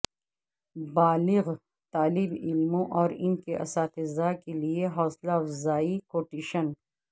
بالغ طالب علموں اور ان کے اساتذہ کے لئے حوصلہ افزائی کوٹیشن